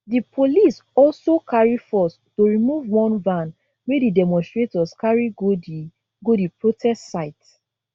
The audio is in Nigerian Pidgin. di police also carry force to remove one van wey di demonstrators carry go di go di protest site